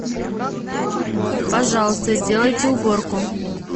пожалуйста сделайте уборку